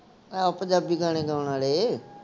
ਆਹ ਪੰਜਾਬੀ ਗਾਣੇ ਗਾਉਣ ਵਾਲੇ